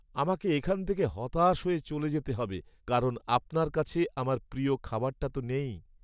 আমাকে এখান থেকে হতাশ হয়ে চলে যেতে হবে কারণ আপনার কাছে আমার প্রিয় খাবারটা তো নেই।